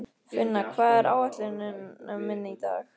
Finna, hvað er á áætluninni minni í dag?